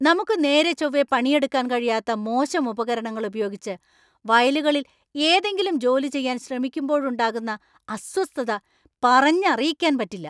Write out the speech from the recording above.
നമുക്ക് നേരെ ചോവ്വേ പണിയെടുക്കാൻ കഴിയാത്ത മോശം ഉപകരണങ്ങൾ ഉപയോഗിച്ച് വയലുകളിൽ ഏതെങ്കിലും ജോലി ചെയ്യാൻ ശ്രമിക്കുമ്പോഴുണ്ടാകുന്ന അസ്വസ്ഥത പറഞ്ഞറിയിക്കാൻ പറ്റില്ല .